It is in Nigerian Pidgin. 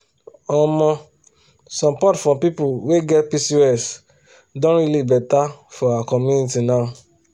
omosupport for people wey get pcos don really better for our community now.